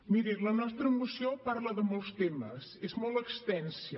mirin la nostra moció parla de molts temes és molt extensa